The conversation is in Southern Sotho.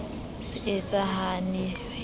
se e sa hane hwetla